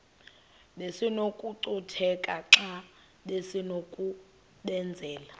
besinokucutheka xa besinokubenzela